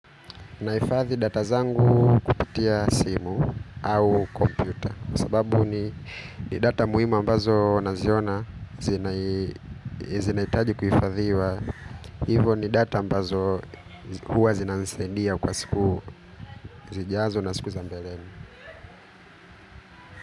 Naifathi data zangu kupitia simu au kompyuta sababu ni ni data muhimu a mbazo naziona zinahitaji kuifathiwa. Hivo ni data ambazo huwa zinanisaindia kwa siku zijazo na siku zambeleni.